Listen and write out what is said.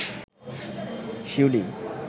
শিউলি